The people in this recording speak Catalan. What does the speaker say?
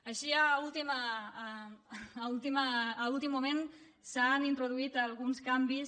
així a últim moment s’han introduït alguns canvis